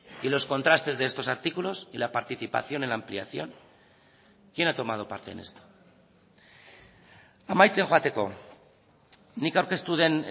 y los contrastes de estos artículos y la participación en la ampliación quién ha tomado parte en esto amaitzen joateko nik aurkeztu den